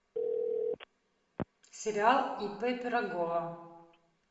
сериал ип пирогова